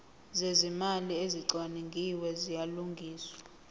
zezimali ezicwaningiwe ziyalungiswa